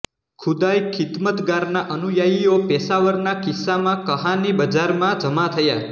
ખુદાઈ ખિદમતગારના અનુયાયીઓ પેશાવરના કિસ્સા કહાની બજારમાં જમા થયાં